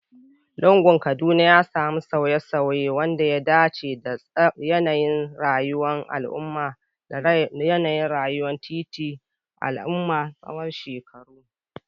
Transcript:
Lugunan Kaduna ya sami sauye-sauye, wanda ya dace da sauye-sauyen yanayin rayuwar titi da yanayin rayuwar al'umma tsawon shekaru.